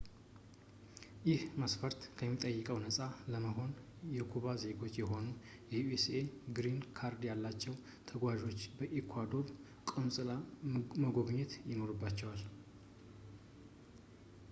ይህ መስፈርት ከሚጠይቀው ነፃ ለመሆን የኩባ ዜጎች ሆነው የዩኤስኤ ግሪን ካርድ ያላቸው ተገጓዦች የኢኳዶር ቆንፅላን መጎብኘት ይኖርባቸዋል